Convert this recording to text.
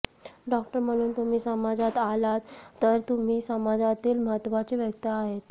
doctor म्हणून तुम्ही समाजात आलात तर तुम्ही समाजातील महत्वाचे व्यक्ती आहात